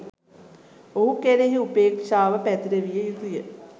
ඔහු කෙරෙහි උපේක්ෂාව පැතිරවිය යුතු ය.